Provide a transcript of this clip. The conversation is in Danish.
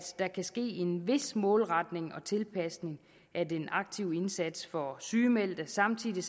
der kan ske en vis målretning og tilpasning af den aktive indsats over for sygemeldte samtidig